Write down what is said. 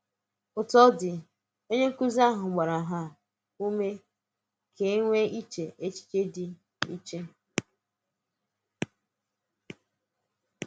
Òtù ọ́ dị̄, onye nkụ́zi ahụ̀ gbàrà um ụ́mè̄ ka e e nweè èchẹ́ echiche dị̀ iche.